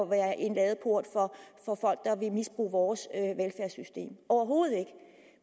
være en ladeport for folk der vil misbruge vores velfærdssystem overhovedet ikke